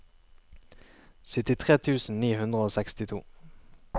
syttitre tusen ni hundre og sekstito